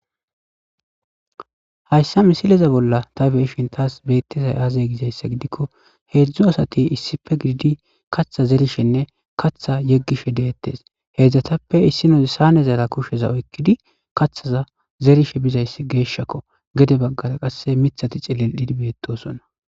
Hayssa misileza bolla ta beeshin taas beettezay aaze gizayssa gidikko heedzdzu asati issife gididi katha zerishenne katha yeggishe deettes heedzdzatappe issinoze sanezaara kusheza oykkidi kathaza zerishe bizayss geeshshakko gede baggara qasse mithati cilel'idi beettosonna.